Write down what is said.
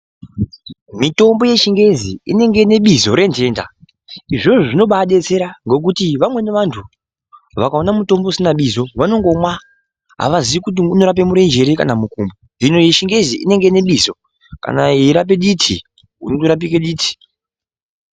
Mitombo yechingezi inenge ine bizo rentenda izvozvo zvinobadetsera ngekuti vamweni vantu vakakona mutombo usina bizo vanongomwa avazivi kuti unorapamurenje here kana mukumbo. Hino yechingezi inenge ine bizo kana yeirape diti unondorapike diti.